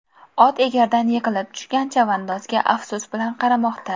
Ot egardan yiqilib tushgan chavandozga afsus bilan qaramoqda.